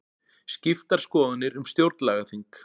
Skiptar skoðanir um stjórnlagaþing